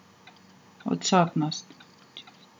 Odsotnost.